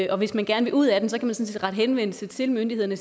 og hvis man gerne vil ud af den sådan set rette henvendelse til myndighederne